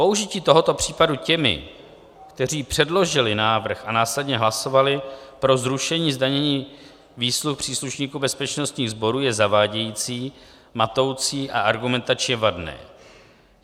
Použití tohoto případu těmi, kteří předložili návrh a následně hlasovali pro zrušení zdanění výsluh příslušníků bezpečnostních sborů, je zavádějící, matoucí a argumentačně vadné.